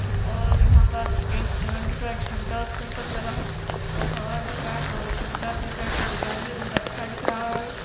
और यहाँ पास एक पेड़ दिख रहा है झंडा उसके ऊपर लगा है आऊ दिख रहा है बहुत सुंदर दिख रहा है इसका डिजाइन भी बहुत अच्छा दिख रहा हैं ।